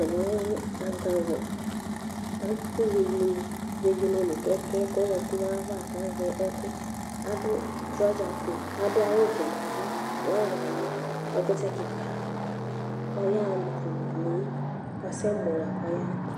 Ɛvɛlɛ azawla, atʋ vegele nʋ kɛjɛ kʋ ɛkʋ zati nʋ ayʋ ava kʋ azɛ ɛkʋ. Adʋ trɔzafue, adʋ awʋvɛ nʋ ava, flawani, ɛkʋtɛ kika kʋ ayaxa nʋ vegele asɛmɔ lakʋ ɔyaxa.